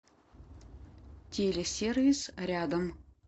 телесервис рядом